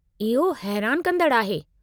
इहो हैरानु कंदड़ु आहे।